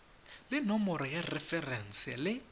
le nomoro ya referense le